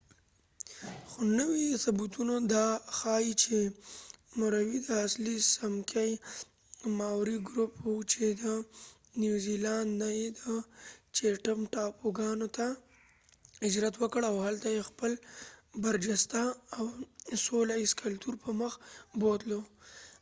خو نوي ثبوتونه دا ښایې چې موریوری د اصلی څمکې ماوری ګروپ و چې د نیوزیلاند نه یې د چېټم ټاپوګانو ته هجرت وکړ او هلته یې خپل برجسته او سوله ایز کلتور پر مخ بوتلو